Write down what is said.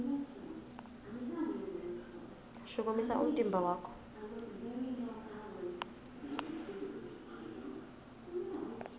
shukumisa umtimba wakho